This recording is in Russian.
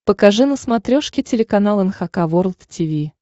покажи на смотрешке телеканал эн эйч кей волд ти ви